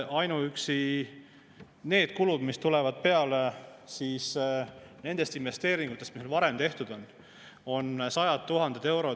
Ainuüksi need kulud, mis tulevad peale nendest investeeringutest, mis on varem tehtud, on sajad tuhanded eurod.